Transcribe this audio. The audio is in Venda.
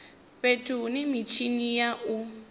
fhethu hune mitshini ya u